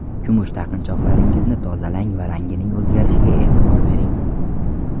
Kumush taqinchoqlaringizni tozalang va rangining o‘zgarishiga e’tibor bering.